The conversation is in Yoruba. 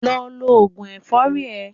Lọ lo òògùn ẹ̀fọ́rì ẹ.